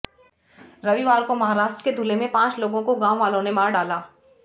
रविवार को महाराष्ट्र के धुले में पांच लोगों को गांव वालों ने मार डाला